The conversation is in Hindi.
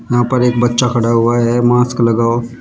यहां पर एक बच्चा खड़ा हुआ है मास्क लगाओ--